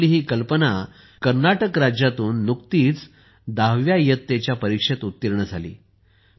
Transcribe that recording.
तर आपली ही कल्पना कर्नाटक राज्यातून नुकतीच 10 व्या इयत्तेच्या परीक्षेत उत्तीर्ण झाली आहे